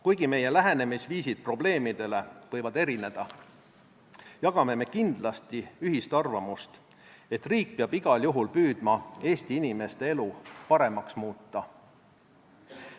Kuigi meie lähenemisviisid probleemidele võivad erineda, jagame me kindlasti ühist arvamust, et riik peab igal juhul püüdma Eesti inimeste elu paremaks muuta.